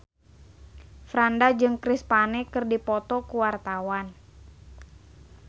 Franda jeung Chris Pane keur dipoto ku wartawan